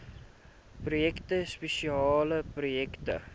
projekte spesiale projekte